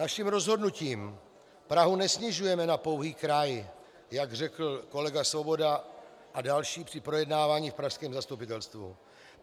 Naším rozhodnutím Prahu nesnižujeme na pouhý kraj, jak řekl kolega Svoboda a další při projednávání v pražském zastupitelstvu.